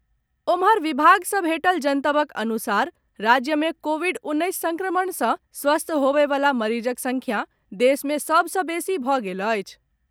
ओम्हर, विभाग सॅ भेटल जनतबक अनुसार राज्य में कोविड उन्नैस संक्रमण से स्वस्थ होबयवला मरीजक संख्या देश मे सभ सॅ बेसी भऽ गेल अछि।